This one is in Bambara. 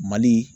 Mali